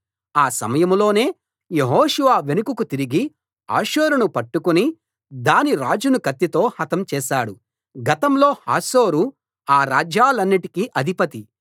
ఆ సమయంలోనే యెహోషువ వెనుకకు తిరిగి హాసోరును పట్టుకుని దాని రాజును కత్తితో హతం చేశాడు గతంలో హాసోరు ఆ రాజ్యాలన్నిటికీ అధిపతి